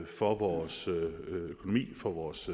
for vores økonomi og for vores